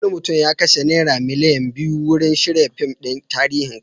Wani mutum ya kashe naira miliyan biyu wurin shirya fim ɗin tarihin Kano.